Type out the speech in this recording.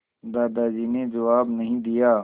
दादाजी ने जवाब नहीं दिया